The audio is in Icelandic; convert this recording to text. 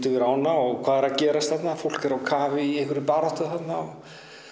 yfir ána og hvað er að gerast fólk er á kafi í einhverri baráttu þarna